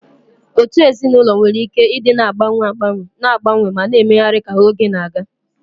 Otu ezinụlọ nwere ike ịdị na-agbanwe agbanwe, na-agbanwe ma na-emegharị ka oge na-aga.